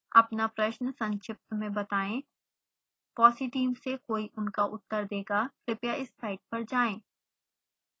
अपना प्रश्न संक्षिप्त में बताएं